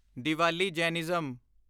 Diwali Jainism